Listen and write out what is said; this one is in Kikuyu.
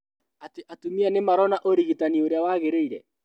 Atĩ atumia nimarona ũrigitani ũrĩa wagĩrĩire